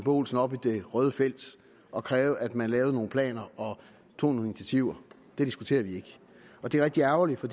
olsen op i det røde felt og kræve at man lavede nogle planer og tog nogle initiativer diskuterer vi ikke og det er rigtig ærgerligt for